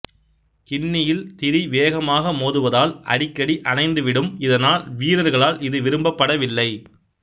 கிண்ணியில் திரி வேகமாக மோதுவதால் அடிக்கடி அணைந்துவிடும் இதனால் வீரர்களால் இது விரும்பப்படவில்லை